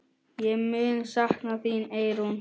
Ég mun sakna þín, Eyrún.